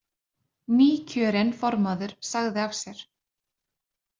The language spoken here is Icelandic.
Nýkjörinn formaður sagði af sér